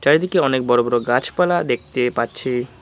চারিদিকে অনেক বড়ো বড়ো গাছপালা দেখতে পাচ্ছি।